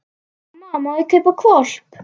Mamma, má ég kaupa hvolp?